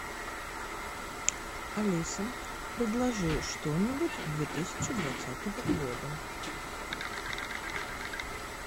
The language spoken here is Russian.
алиса предложи что нибудь две тысячи двадцатого года